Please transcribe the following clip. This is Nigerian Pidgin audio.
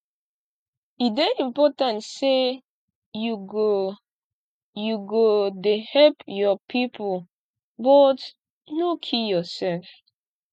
e dey important sey you go you go dey help your pipo but no kill yoursef